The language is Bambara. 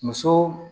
Muso